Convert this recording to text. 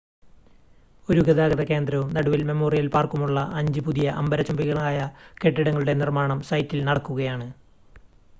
ഒരു ഗതാഗത കേന്ദ്രവും നടുവിൽ മെമ്മോറിയൽ പാർക്കും ഉള്ള അഞ്ച് പുതിയ അംബരചുംബികളായ കെട്ടിടങ്ങളുടെ നിർമ്മാണം സൈറ്റിൽ നടക്കുകയാണ്